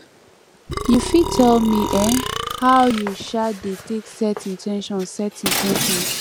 you fit tell me um how you um dey take set in ten tions set in ten tions